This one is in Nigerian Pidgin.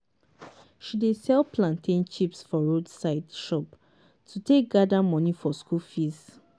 she dey sell plantain chips for roadside shop to take gather money for school fees.